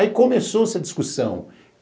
Aí começou-se a discussão.